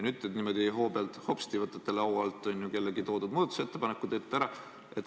Nüüd võtate teie hoo pealt hopsti laua alt kellegi toodud muudatusettepaneku ja teete ära.